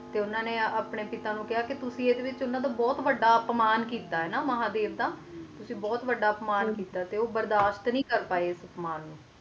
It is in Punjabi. ਤੇ ਉਨ੍ਹਾਂ ਨੇ ਆਪਣੇ ਪਿਤਾ ਨੂੰ ਕਾਯਾ ਕ ਇਸ ਵਿਚ ਤੇ ਬੋਹਤ ਵੱਡਾ ਅਪਮਾਨ ਕਿੱਤਾ ਮਹਾਦੇਵ ਦਾ ਤੁਸੀ ਬੋਹਤ ਵੱਡਾ ਅਪਮਾਨ ਕਿੱਤਾ ਹੈ ਤੇ ਉਹ ਬਰਦਾਸਤ ਨਹੀਂ ਕਰ ਪਾਏ ਇਸ ਅਪਮਾਨ ਨੂੰ